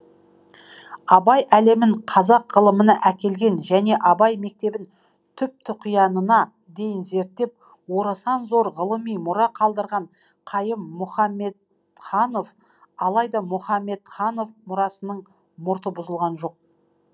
абай әлемін қазақ ғылымына әкелген және абай мектебін түп тұқиянына дейін зерттеп орасан зор ғылыми мұра қалдырған қайым мұхаммедханов алайда мұхаммедханов мұрасының мұрты бұзылған жоқ